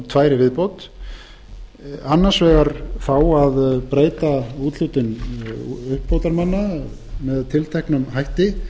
á kosningalögunum annars vegar þá að breyta úthlutun uppbótarmanna með tilteknum hætti